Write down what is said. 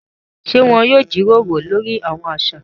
Ṣe wọn yóò jíròrò lórí awọn aṣa?